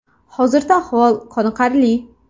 Hozirda ahvoli qoniqarli.